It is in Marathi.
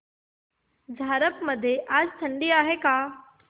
झारप मध्ये आज थंडी आहे का